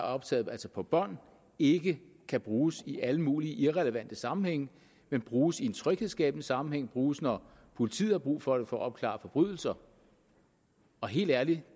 optagelser på bånd ikke kan bruges i alle mulige irrelevante sammenhænge men bruges i en tryghedsskabende sammenhæng bruges når politiet har brug for det for at opklare forbrydelser helt ærligt